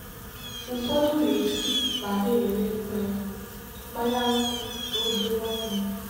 ụfọdụ na-esi ma na-ere mmanya nkwụ n'obere ọnụ.